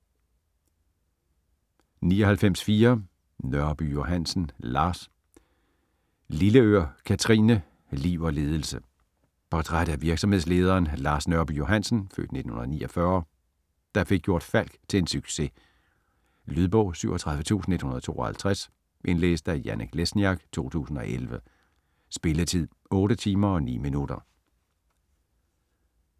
99.4 Nørby Johansen, Lars Lilleør, Kathrine: Liv og ledelse Portræt af virksomhedslederen Lars Nørby Johansen (f. 1949), der fik gjort Falck til en succes. Lydbog 37152 Indlæst af Janek Lesniak, 2011. Spilletid: 8 timer, 9 minutter.